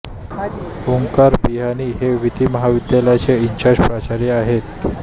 ओंकार बिहाणी हे विधी महाविद्यालयाचे इन्चार्ज प्राचार्य आहेत